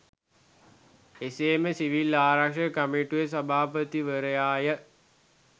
එමෙන්ම සිවිල් ආරක්‍ෂක කමිටුවේ සභාපතිවරයා ය.